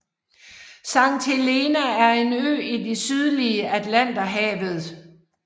Sankt Helena er en ø i det sydlige Atlanterhavet